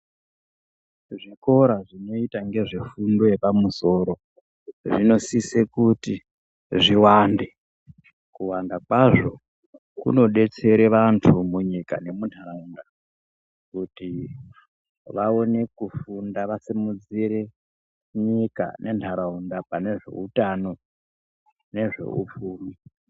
Zvikora zvinoita ngezvefundo yepamusoro ,zvinosise kuti zviwande. Kuwanda kwazvo kunodetsera kunodetsera vantu munyika nemuntaraunda kuti vawone kufunda vasimudzire nyika nentaraunda panezvehutano nezvehupfumi.